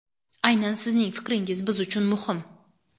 Aynan sizning fikringiz biz uchun muhim!.